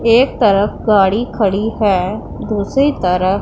एक तरफ गाड़ी खड़ी है दूसरी तर--